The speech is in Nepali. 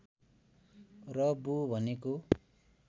र बु भनेको